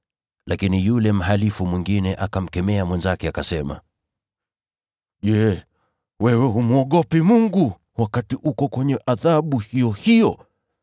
Lakini yule mhalifu mwingine akamkemea mwenzake, akasema, “Je, wewe humwogopi Mungu, wakati uko kwenye adhabu iyo hiyo?